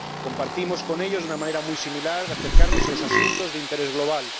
Compartimos con ellos una manera muy similar de acercarnos a los asuntos de interés global